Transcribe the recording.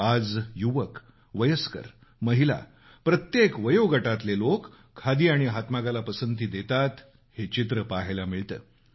आज युवक वयस्कर महिला प्रत्येक वयोगटातले लोक खादी आणि हातमागाला पसंती देतात हे चित्र पाहायला मिळतं